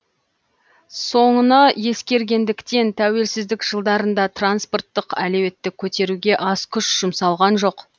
соны ескергендіктен тәуелсіздік жылдарында транспорттық әлеуетті көтеруге аз күш жұмсалған жоқ